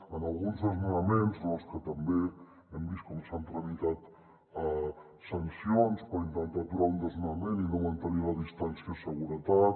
en alguns desnonaments en els que també hem vist com s’han tramitat sancions per intentar aturar un desnonament i no mantenir la distància de seguretat